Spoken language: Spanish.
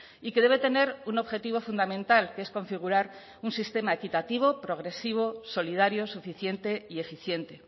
y que debe tener un objetivo fundamental que es configurar un sistema equitativo progresivo solidario suficiente y eficiente